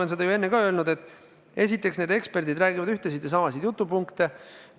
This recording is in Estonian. Eks ma olen seda ju enne ka öelnud, et esiteks need eksperdid räägivad ühtesid ja samasid jutupunkte.